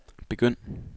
begynd